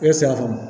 E sɛfan